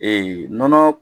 Ee nɔnɔ